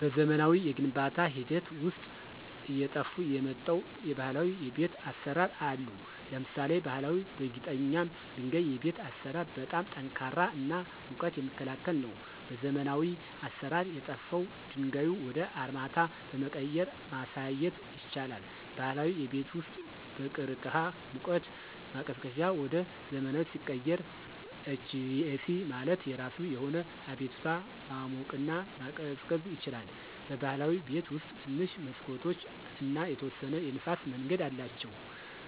በዘመናዊ የግንባታ ሂደት ውስጥ አየጠፍ የመጣው የባህላዊ የቤት አሰራር አሉ። ለምሳሌ ባሀላዊ በጊጠኛ ድንጋይ የቤት አሰራር በጣም ጠንካራ እና ሙቀት የሚክላከል ነው። በዘመናዊ አሰራር የጠፍው ድንጋዩ ወደ አርማታ በመቀየራ ማሳየት ይቻላል። ባህላዊ የቤት ውስጥ በቅርቅህ ሙቀት ማቀዝቀዚያ ወደ ዘመናዊ ሲቀየር HVAC ማለት የራሱ የሆነ አቤቱታ ማሞቅና መቀዝቀዝ ይችላል። በብህላዊ ቤት ውስጥ ትንሽ መሠኮቶች እና የተወሰነ የንፍስ መንገድ አላቸው